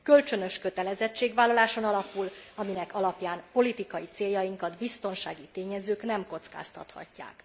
Kölcsönös kötelezettségvállaláson alapul, aminek alapján politikai céljainkat biztonsági tényezők nem kockáztathatják.